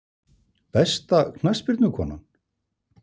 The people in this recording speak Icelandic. Besta knattspyrnukonan?